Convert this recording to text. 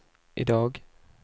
idag